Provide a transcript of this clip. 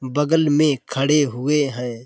बगल में खड़े हुए हैं।